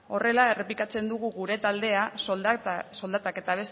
horrela errepikatzen dugu gure taldeak soldatak eta